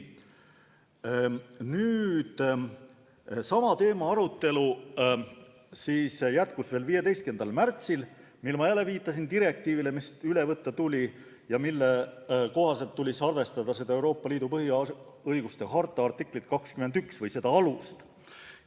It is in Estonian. Sama teema arutelu jätkus 15. märtsil, kui ma viitasin direktiivile, mis tuli üle võtta ja mille kohaselt tuli arvestada Euroopa Liidu põhiõiguste harta artiklit 21 või seda alust.